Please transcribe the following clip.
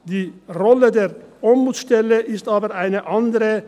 Die Rolle der Ombudsstelle ist aber eine andere.